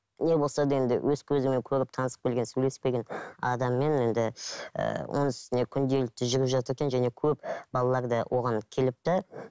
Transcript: не болса да енді өз көзіммен көріп танысып келген сөйлесіп келген адаммен енді ііі оның үстіне күнделікті жүріп жатыр екен және көп балалар да оған келіпті